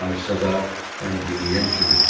Danışsa da onu dinləyən kim idi?